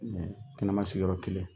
Ani kɛnɛma sigiyɔrɔ kelen.